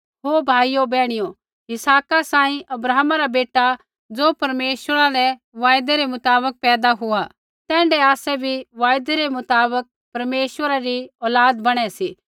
ओ भाइयो बैहणियो इसहाका सांही अब्राहमा रा बेटा ज़ो परमेश्वरा रै वायदै रै मुताबक पैदा हुआ तैण्ढै आसै भी वायदै रै मुताबक परमेश्वरा री औलाद बणै सी